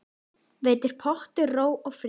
Veitir pottur ró og frið.